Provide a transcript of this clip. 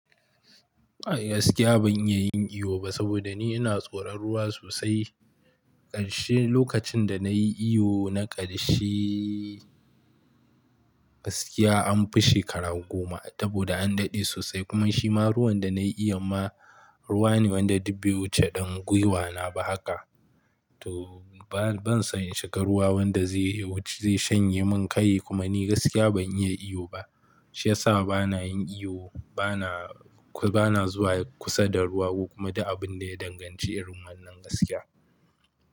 A gaskiya ban iya yin iyo ba saboda ni ina tsoran ruwa sosai. Ƙarshe lokacin da nayi iyo na ƙarshe gaskiya an fi shekara goma saboda an dade sosai kuma shima ruwan da na yi iyon ma ruwa ne wanda dubbe wuce ɗan guiwa na ba haka. To ban son in shiga ruwa wanda zai wuce ya shanye min kai kuma ni gaskiya ban iya iyo ba. Shi ya sa ba na yin iyo, ba na zuwa kusa da ruwa kokuma duk abun da ya danganci irin wannan gaskiya.